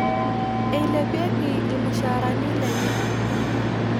Eilepieki irmushaarani lenye